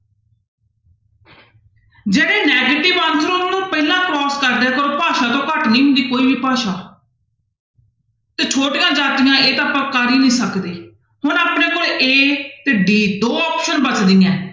ਜਿਹੜੇ negative answer ਉਹਨਾਂ ਨੂੰ ਪਹਿਲਾਂ cross ਕਰ ਦਿਆ ਕਰੋ ਭਾਸ਼ਾ ਤੋਂ ਘੱਟ ਨੀ ਹੁੰਦੀ ਕੋਈ ਵੀ ਭਾਸ਼ਾ ਤੇ ਛੋਟੀਆਂ ਜਾਤੀਆਂ ਇਹ ਤਾਂ ਆਪਾਂ ਕਰ ਹੀ ਨੀ ਸਕਦੇ, ਹੁਣ ਆਪਣੇ ਕੋਲ a ਤੇ d ਦੋ option ਬਚਦੀਆਂ ਹੈ।